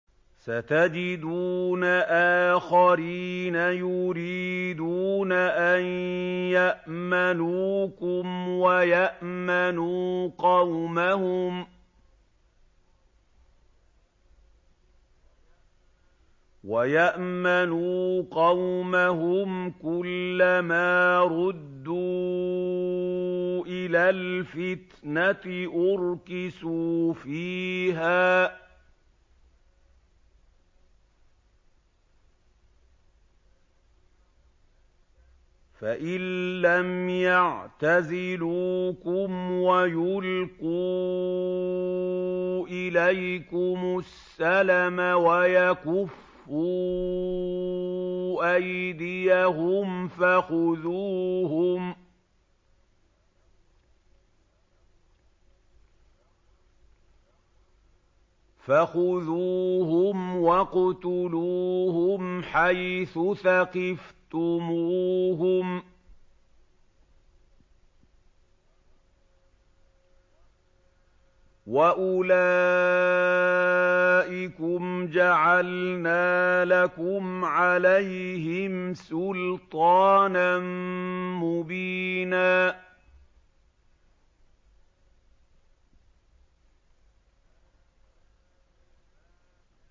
سَتَجِدُونَ آخَرِينَ يُرِيدُونَ أَن يَأْمَنُوكُمْ وَيَأْمَنُوا قَوْمَهُمْ كُلَّ مَا رُدُّوا إِلَى الْفِتْنَةِ أُرْكِسُوا فِيهَا ۚ فَإِن لَّمْ يَعْتَزِلُوكُمْ وَيُلْقُوا إِلَيْكُمُ السَّلَمَ وَيَكُفُّوا أَيْدِيَهُمْ فَخُذُوهُمْ وَاقْتُلُوهُمْ حَيْثُ ثَقِفْتُمُوهُمْ ۚ وَأُولَٰئِكُمْ جَعَلْنَا لَكُمْ عَلَيْهِمْ سُلْطَانًا مُّبِينًا